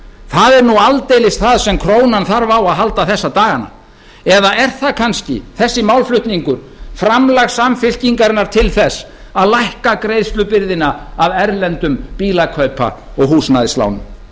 það er nú aldeilis það sem krónan þarf á að halda þessa dagana eða er kannski þessi málflutningur framlag samfylkingarinnar til þess að lækka greiðslubyrðina af erlendum bílakaupa og húsnæðislánum